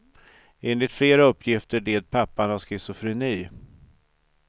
Enligt flera uppgifter led pappan av schizofreni.